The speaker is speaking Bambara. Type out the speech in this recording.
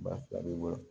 Ba fila b'i bolo